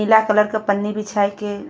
पीला कलर के पन्नी बिछाइके --